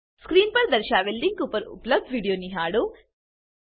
screen પર દર્શાવેલ link પર ઉપલબ્ધ વિડીયો નિહાળો